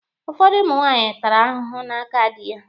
Ụfọdụ ụmụ nwaanyị tara ahụhụ n'aka dị ya